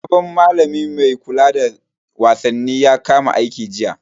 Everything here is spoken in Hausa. Sabon malami mai kula da wasanni ya kama aiki jiya.